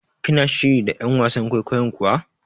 Kina shiri da ƴan wasan kwaikwayon kuwa?